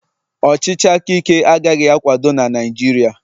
ọchịchị aka Ike agaghị akwado na Naịjirịa